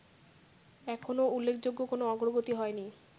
এখনো উল্লেখযোগ্য কোনো অগ্রগতি হয়নি